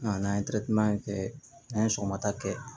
A n'an ye kɛ n'an ye sɔgɔmada kɛ